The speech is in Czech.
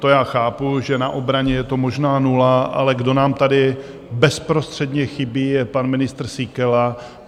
To já chápu, že na obraně je to možná nula, ale kdo nám tady bezprostředně chybí, je pan ministr Síkela.